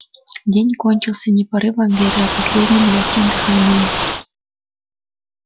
день кончился не порывом ветра а последним лёгким дыханием